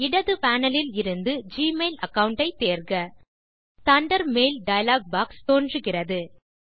இடது panelஇலிருந்து Gmail account ஐ தேர்க தண்டர்பர்ட் மெயில் டயலாக் பாக்ஸ் தோன்றுகிறது